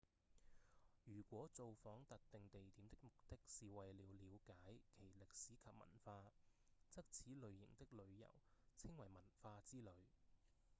如果造訪特定地點的目的是為了瞭解其歷史及文化則此類型的旅遊稱為文化之旅